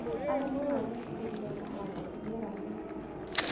Arĩmi maretigĩrire kũhanda kĩmera gĩkĩ